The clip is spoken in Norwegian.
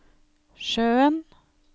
sjøen